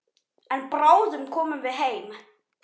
En bráðum komum við heim.